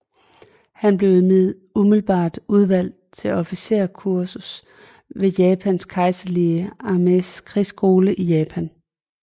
Han blev umiddelbart udvalgt til officerskursus ved Japans kejserlige armés krigsskole i Japan